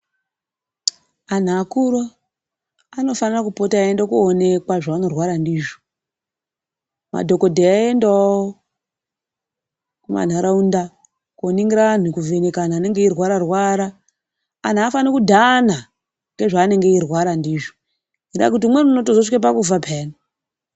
Antu akuru anofanira kupota eienda koonekwa zvaanorwara ndizvo. Madhokodheya eiendawo kumanharaunda kooningira antu, kuvheneka antu anenge eirwararwara. Antu aafani kudhana ngezvaanenge eirwara ndizvo, ngendaa yekuti umweni unotozosvike pakufa pheyani.